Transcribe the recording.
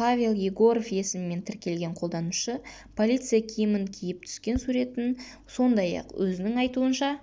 павел егоров есімімен тіркелген қолданушы полиция киімін киіп түскен суретін сондай-ақ өзінің айтуынша